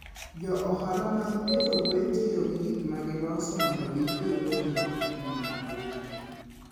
Jo ohala mag pidho gwen tiyo gi gik ma giloso mondo gijiwgo nyinggi.